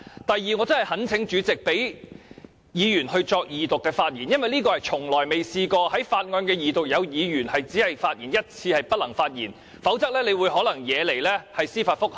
第二，我真的懇請主席讓議員就《條例草案》的二讀發言，因為這情況過去從來未曾出現過，也就是在法案二讀時，有議員連一次發言機會也沒有，否則你可能會引起司法覆核。